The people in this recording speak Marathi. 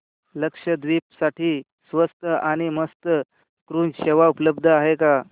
लक्षद्वीप साठी स्वस्त आणि मस्त क्रुझ सेवा उपलब्ध आहे का